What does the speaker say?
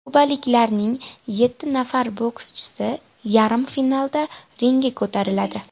Kubaliklarning yetti nafar bokschisi yarim finalda ringga ko‘tariladi.